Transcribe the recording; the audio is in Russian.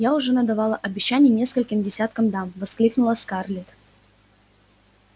я уже надавала обещаний нескольким десяткам дам воскликнула скарлетт